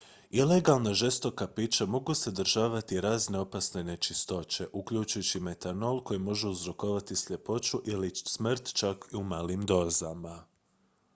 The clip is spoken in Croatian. ilegalna žestoka pića mogu sadržavati razne opasne nečistoće uključujući metanol koji može uzrokovati sljepoću ili smrt čak i u malim dozama